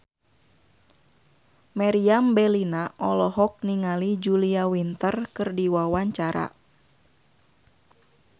Meriam Bellina olohok ningali Julia Winter keur diwawancara